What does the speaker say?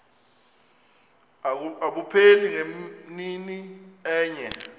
abupheli ngemini enye